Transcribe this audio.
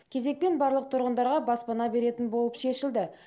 кезекпен барлық тұрғындарға баспана беретін болып шешілді